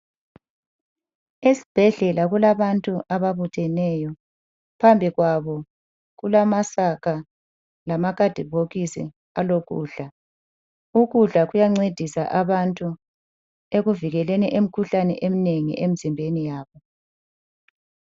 Esibhedlela kulabantu ababutheneyo phambi kwabo kulamasaka lamakhadibhokisi alokudla ukudla kuyancedisa abantu ekuvikeleni imikhuhlane eminengi emzimbeni yabo.